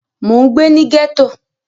Mo n gbé ní gẹ́ẹ́tò